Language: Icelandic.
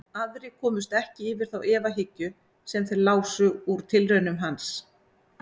Aðrir komust ekki yfir þá efahyggju sem þeir lásu úr tilraunum hans.